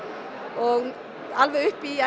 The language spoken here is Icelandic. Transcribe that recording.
og alveg upp í